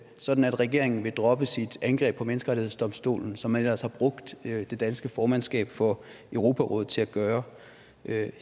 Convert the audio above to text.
sådan at regeringen vil droppe sit angreb på menneskerettighedsdomstolen som man ellers har brugt det danske formandskab for europarådet til at gøre